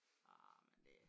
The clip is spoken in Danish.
Arh men det